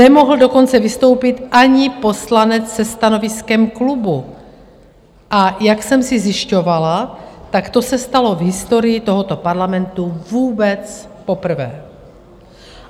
Nemohl dokonce vystoupit ani poslanec se stanoviskem klubu, a jak jsem si zjišťovala, tak to se stalo v historii tohoto Parlamentu vůbec poprvé.